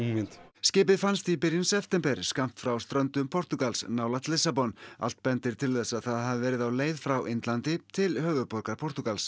skipið fannst í byrjun september skammt frá ströndum Portúgals nálægt Lissabon allt bendir til þess að það hafi verið á leið frá Indlandi til höfuðborgar Portúgals